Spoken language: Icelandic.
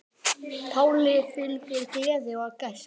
Páli fylgir gleði og gæska.